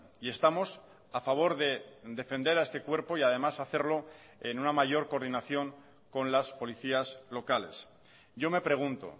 y estamos a favor de defender a este cuerpo y además hacerlo en una mayor coordinación con las policías locales yo me pregunto